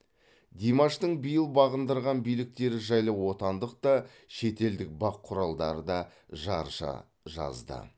димаштың биыл бағындырған биліктері жайлы отандық да шетелдік бақ құралдары да жаржа жазды